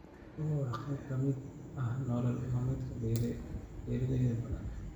Xooluhu waa qayb ka mid ah nolol maalmeedka beeraley badan.